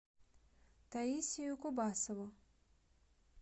таисию кубасову